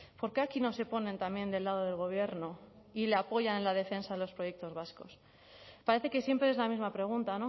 por qué aquí no se ponen también del lado del gobierno y le apoyan en la defensa de los proyectos vascos parece que siempre es la misma pregunta